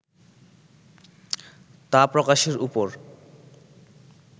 তা প্রকাশের উপর